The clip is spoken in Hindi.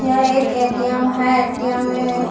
यह एक ए.टी.एम है ए.टी.एम. मे --